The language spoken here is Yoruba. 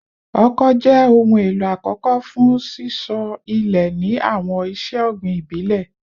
Oko jẹ ohun elo akọkọ fun sisọ ile ni awọn iṣe ogbin ibile